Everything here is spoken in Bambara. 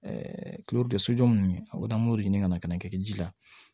sojɔ ninnu o an b'o de ɲini ka na ka na kɛ ji la